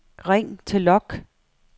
ring til log